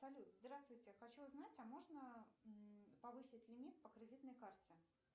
салют здравствуйте я хочу узнать а можно повысить лимит по кредитной карте